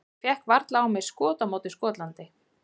Ég fékk varla á mig skot á móti Skotlandi.